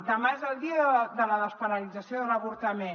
demà és el dia de la despenalització de l’avortament